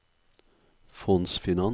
fondsfinans